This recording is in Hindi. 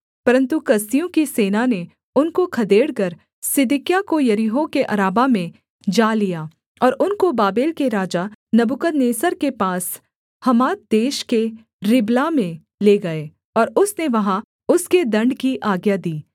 परन्तु कसदियों की सेना ने उनको खदेड़कर सिदकिय्याह को यरीहो के अराबा में जा लिया और उनको बाबेल के राजा नबूकदनेस्सर के पास हमात देश के रिबला में ले गए और उसने वहाँ उसके दण्ड की आज्ञा दी